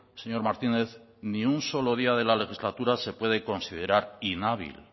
señor martínez ni un solo día de la legislatura se puede considerar inhábil